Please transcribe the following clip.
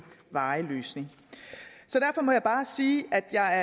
varig løsning så derfor må jeg bare sige at jeg